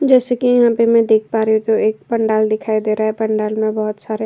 जैसे की यहाँ पे मे देख पा रही हूँ। एक पंडाल दिखाई दे रहा है। पंडाल में बहुत सारे --